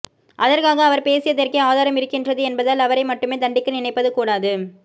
அதற்காக அவர் பேசியதற்கே ஆதாரம் இருக்கின்றது என்பதால் அவரை மட்டுமே தண்டிக்க நினைப்பது கூடாது